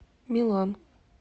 милан